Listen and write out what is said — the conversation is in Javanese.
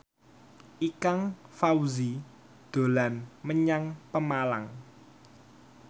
Ikang Fawzi dolan menyang Pemalang